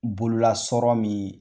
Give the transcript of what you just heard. Bololasɔrɔ min